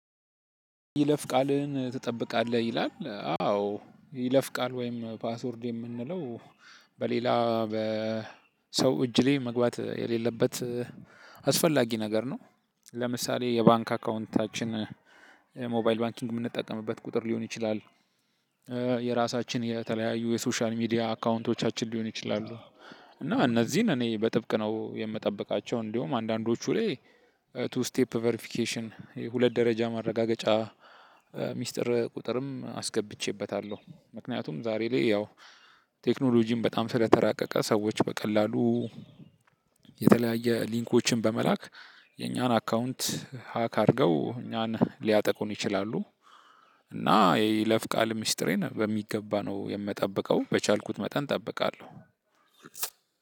ይለፍ ቃልህን ትጠብቃለህ ይላል አዎ ይለፍ ቃል ወይም ፓስወርድ የምንለው በሌላ በሰው እጅ ላይ መግባት የሌለበት አስፈላጊ ነገር ነው። ለምሳሌ የባንክ አካውንታችን ሞባይል ባንኪንግ ምንጠቀምበት ቁጥር ሊሆን ይችላል። የራሳችን የተለያዩ የሶሻል ሚዲያ አካውንቶቻችን ሊሆን ይችላሉ። እና እነዚህን እኔ በጥብቅ ነው የምጠብቃቸው እንደውም አንዳንዶቹ ላይ ቱ ስቴፕ ቨርፊኬሽን የሁለት ደረጃ ማረጋገጫ። ሚስጥር ቁጥርም አስገብቼበታለሁ ምክንያቱም ዛሬ ላይ ያው ቴክኖሎጂም በጣም ስለተራቀቀ ሰዎች በቀላሉ። የተለያየ ሊንኮችን በመላክ የኛን አካውንት ሀክ አድርገው እኛን ሊያጠቁን ይችላሉ። እና የይለፍ ቃል ሚስጥሬን በሚገባ ነው የምጠብቀው በቻልኩት መጠን እጠብቃለሁ።